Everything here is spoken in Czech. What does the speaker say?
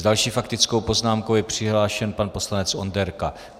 S další faktickou poznámkou je přihlášen pan poslanec Onderka.